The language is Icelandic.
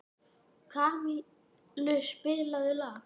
Kamilus, spilaðu lag.